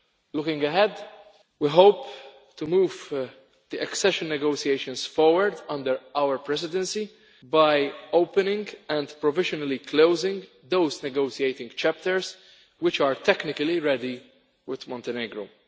Looking ahead, we hope to move the accession negotiations forward under our presidency by opening and provisionally closing those negotiating chapters which are technically ready with Montenegro.